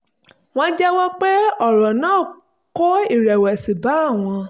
wọ́n jẹ́wọ́ pé ọ̀rọ̀ náà kó ìrẹ̀wẹ̀sì bá àwọn